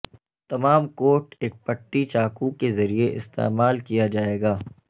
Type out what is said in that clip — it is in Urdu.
تمام کوٹ ایک پٹی چاقو کے ذریعے استعمال کیا جائے گا